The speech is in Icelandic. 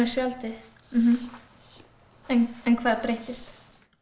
spjaldið en hvað breyttist